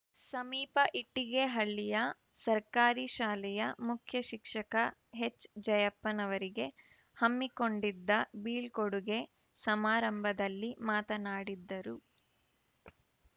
ಸಮೀಪ ಇಟ್ಟಿಗೆಹಳ್ಳಿಯ ಸರ್ಕಾರಿ ಶಾಲೆಯ ಮುಖ್ಯ ಶಿಕ್ಷಕ ಎಚ್‌ ಜಯಪ್ಪನವರಿಗೆ ಹಮ್ಮಿಕೊಂಡಿದ್ದ ಬೀಳ್ಕೊಡುಗೆ ಸಮಾರಂಭದಲ್ಲಿ ಮಾತನಾಡಿದ್ದರು